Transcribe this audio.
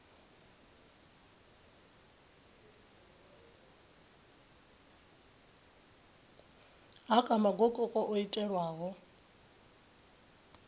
ha kha magokoko o itelwaho